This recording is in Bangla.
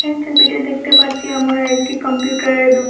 এই ছবিতে দেখতে পারছি আমোরা একটি কম্পিউটারের দুকা--